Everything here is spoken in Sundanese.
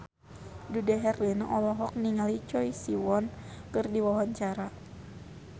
Dude Herlino olohok ningali Choi Siwon keur diwawancara